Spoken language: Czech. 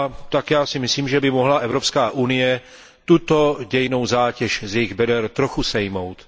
Tak já si myslím, že by mohla Evropská unie tuto dějinnou zátěž z jejich beder trochu sejmout.